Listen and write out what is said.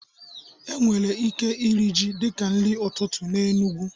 E nwere ike iri ji dịka nri ụtụtụ na Enugwu